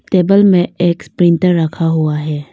Table में एक printer रखा हुआ है।